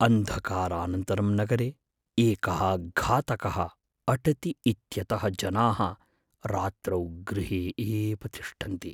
अन्धकारानन्तरं नगरे एकः घातकः अटति इत्यतः जनाः रात्रौ गृहे एव तिष्ठन्ति।